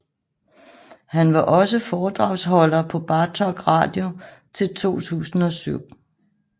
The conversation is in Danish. Han var også foredragsholder på Bartok Radio til 2007